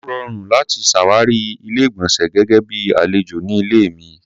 Ó rọrùn láti ṣàwárí Ilé-ìgbọ̀nsẹ̀ gẹ́gẹ́ bíi àlejò ní ilé mi.